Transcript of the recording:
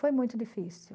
Foi muito difícil.